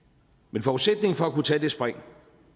men forudsætningen for at kunne tage det spring